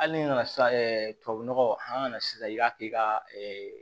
Hali n'i nana sisan tubabu nɔgɔ an kana sisan i k'a kɛ ka